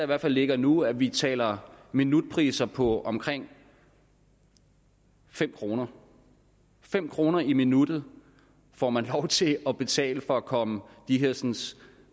der ligger nu at vi taler minutpriser på omkring fem kroner fem kroner i minuttet får man lov til at betale for at komme de hersens